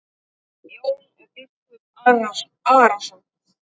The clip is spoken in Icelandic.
Og Jón biskup Arason.